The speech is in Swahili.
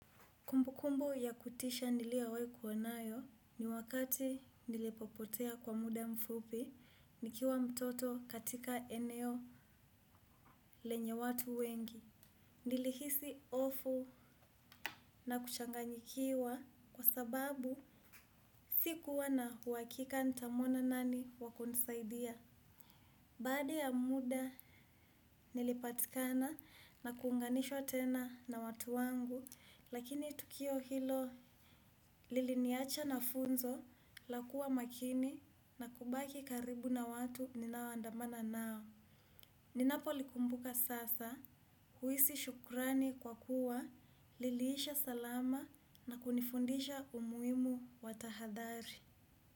Kumbukumbu ya kutisha niliowai kuwa nayo ni wakati nilipopotea kwa muda mfupi, nikiwa mtoto katika eneo lenye watu wengi. Nilihisi hofu na kuchanganyikiwa kwa sababu sikuwa na uhakika nitamwona nani wa kunisaidia. Baada ya muda nilipatikana na kuunganishwa tena na watu wangu lakini tukio hilo liliniacha na funzo la kuwa makini na kubaki karibu na watu ninaoandamana nao. Ninapolikumbuka sasa huhisi shukrani kwa kuwa liliisha salama na kunifundisha umuhimu wa tahadhari.